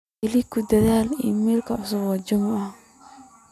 keliya ku dar iimaylka cusub ee juma